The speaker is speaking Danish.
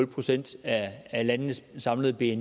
procent af landenes samlede bni